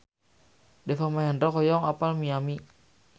Deva Mahendra hoyong apal Miami